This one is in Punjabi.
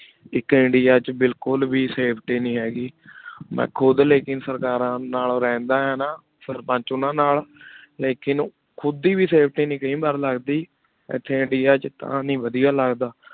ਆਇਕ ਇੰਡੀਆ ਵਿਚ ਬਿਲਕੁਲ ਵੇ ਸਫੇਟੀ ਨਹੀ ਹੇਗੀ ਮੈਂ ਖੁਦ ਲੇਕਿਨ ਸਰਕਾਰਾਂ ਨਾਲੋ ਰਹੰਦਾ ਆ ਨਾ ਲੇਕਿਨ ਖੁਦ ਦੇ ਵੇ ਸਫੇਟੀ ਨਹੀ ਕਾਯੀ ਬਾਰ ਲਗਦੀ ਇਥੀ ਇੜਿਆ ਵਿਚ ਤਾ ਨਹੀ ਵਾਦਿਯ ਲਗਦਾ